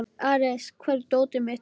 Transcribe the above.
Ares, hvar er dótið mitt?